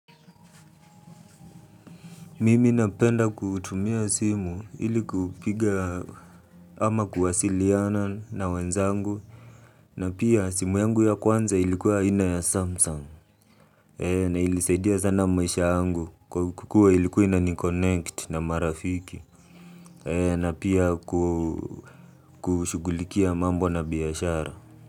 Mimi napenda kutumia simu ili kupiga ama kuwasiliana na wenzangu na pia simu yangu ya kwanza ilikuwa aina ya samsung na ilinisaidia sana maisha yangu kwa kuwa ilikuwa inani connect na marafiki na pia kushughulikia mambo na biashara.